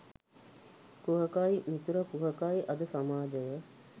කුහකයි මිතුර කුහකයි අද සමාජය